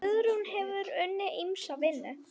Guðrún hefur unnið ýmsa vinnu.